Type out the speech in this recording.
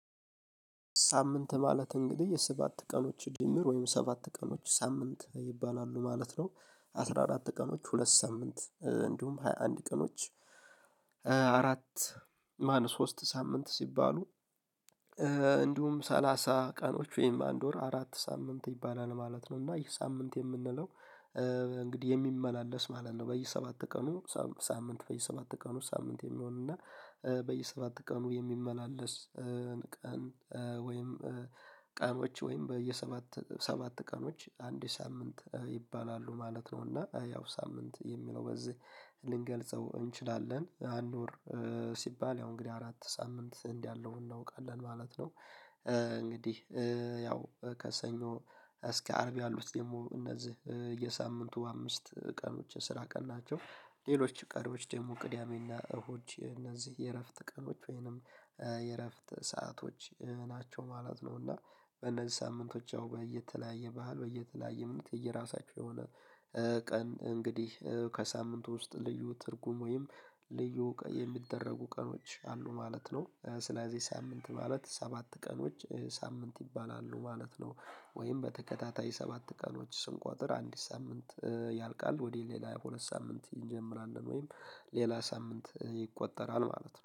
ሳምንት ማለት እንግዲህ የሰባት ቀኖች ድምር ወይም ሰባት ቀኖች ሳምንት ይባላሉ ማለት ነው። አስራ አራት ቀኖች ሁለት ሳምንት እንዲሁም ሃያ አንድ ቀኖች አራት ማን ሶስት ሳምንት ሲባሉ። እንዲሁም ሰላሳ ቀኖች ወይም አንድ ወር አራት ሳምንት ይባላል ማለት ነው። እና ይህ ሳምንት የምንለው። እንግዲህ የሚመላለስ ማለት ነው። በየሰባት ቀኑ ሳምንት በየሰባት ቀኑ ሳምንት የሚሆንና በየሰባት ቀኑ የሚመላለስ። ቀን ቀኖች ወይም በየሰባት ሰባት ቀኖች አንድ ሳምንት ይባላሉ ማለት ነው። እና ያው ሳምንት የሚለው በዚህ ልንገልጸው እንችላለን። አንድ ወር ሲባል ያው እንግዲህ አራት ሳምንት እንዲህ ያለው እናውቃለን ማለት ነው። እንግዲህ ያው ከሰኞ እስከ አርብ ያሉት ደግሞ እነዚህ የሳምንቱ አምስት ቀኖች የስራ ቀኖች ናቸው። ሌሎች ቀሪዎች ደግሞ ቅዳሜና እሁድ እነዚህ የእረፍት ቀኖች ወይንም የእረፍት ሰአቶች ናቸው ማለት ነው። እና በእነዚህ ሳምንቶች ያው በየተለያየ ባህል በየተለያየ እምነት የየራሳቸው የሆነ። ቀን እንግዲህ ከሳምንቱ ውስጥ ልዩ ትርጉም ወይም ልዩ የሚደረጉ ቀኖች አሉ ማለት ነው። ስለዚህ ሳምንት ማለት ሰባት ቀኖች ሳምንት ይባላሉ ማለት ነው። ወይም በተከታታይ ሰባት ቀኖች ስንቆጥር አንዲት ሳምንት ያልቃል ወደ ሌላ ሁለት ሳምንት እንጀምራለን ወይም ሌላ ሳምንት ይቆጠራል ማለት ነው